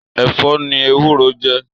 Èfò ni éwùró jè